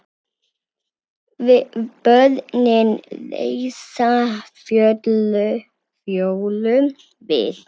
Börnin reisa Fjólu við.